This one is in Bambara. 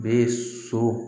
Bɛ so